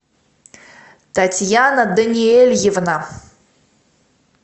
татьяна даниэльевна